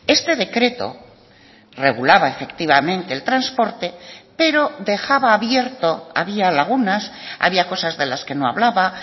este decreto regulaba efectivamente el transporte pero dejaba abierto había lagunas había cosas de las que no hablaba